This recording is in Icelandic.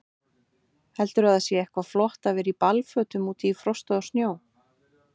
Heldurðu að það sé eitthvað flott að vera í ballfötum úti í frosti og snjó?